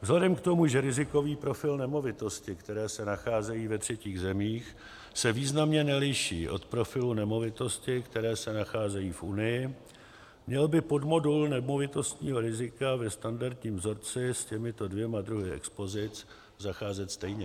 Vzhledem k tomu, že rizikový profil nemovitostí, které se nacházejí ve třetích zemích, se významně neliší od profilu nemovitostí, které se nacházejí v Unii, měl by podmodul nemovitostního rizika ve standardním vzorci s těmito dvěma druhy expozic zacházet stejně.